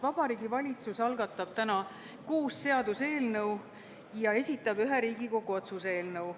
Vabariigi Valitsus algatab täna kuus seaduseelnõu ja esitab ühe Riigikogu otsuse eelnõu.